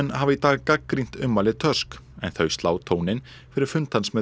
hafa í dag gagnrýnt ummæli Tusk en þau slá tóninn fyrir fund hans með